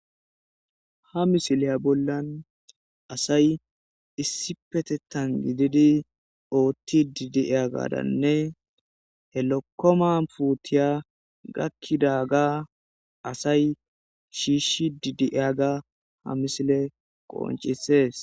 Ha misileya bollan asay issi petettan gididi ootti didi7eya gaadanne helokkoma puutiya gakkida ga asay shiishshi didi7eyaga ha misile qoncisees.